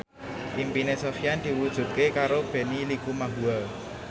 impine Sofyan diwujudke karo Benny Likumahua